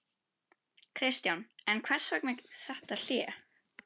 Kristján: En hvers vegna þetta hlé?